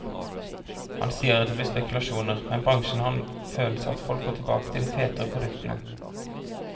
Han sier at det blir spekulasjoner, men bransjen har en følelse av at folk går tilbake til de fetere produktene.